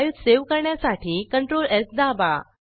file save करण्यासाठी CTRLS दाबा